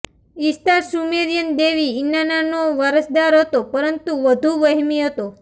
Ishtar Sumerian દેવી ઈનાન્નાનો વારસદાર હતો પરંતુ વધુ વહેમી હતો